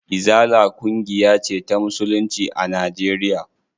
Izala ƙungiya ce ta musulunci a Najeriya.